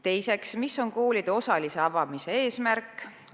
Teiseks, mis on koolide osalise avamise eesmärk?